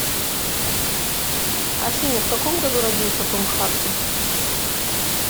афина в каком году родился том харди